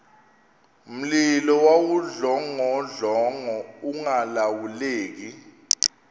mlilo wawudlongodlongo ungalawuleki